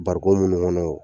Barikɔn munnu ŋɔnɔ o